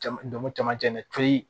Jama jama camancɛ